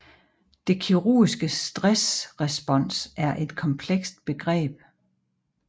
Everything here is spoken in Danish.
Det kirurgiske stressrespons er et komplekst begreb